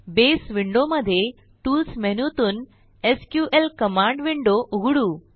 बसे विंडोमध्ये टूल्स मेनूतून SQL command window उघडू